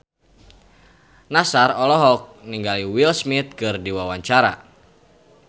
Nassar olohok ningali Will Smith keur diwawancara